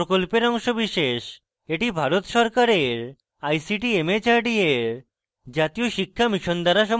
এটি ভারত সরকারের ict mhrd এর জাতীয় শিক্ষা mission দ্বারা সমর্থিত